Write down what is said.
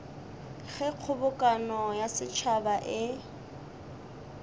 ge kgobokano ya setšhaba e